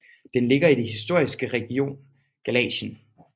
Den ligger i det historiske region Galicien